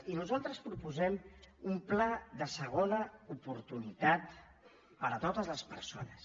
i nosaltres proposem un pla de segona oportunitat per a totes les persones